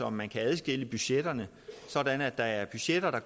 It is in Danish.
om man kan adskille budgetterne sådan at der er budgetter der